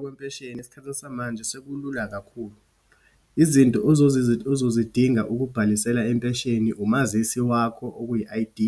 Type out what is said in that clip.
Kwempesheni esikhathi samanje, sekulula kakhulu. Izinto ozozidinga ukubhalisela impesheni, umazisi wakho okuyi I_D,